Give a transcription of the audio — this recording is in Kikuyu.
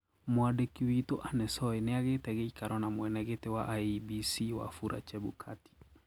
Mwandĩkĩ witũ Anne Soy ñĩagĩte gĩĩkaro ña mwenegiti wa IEBC Wafula Chebukati.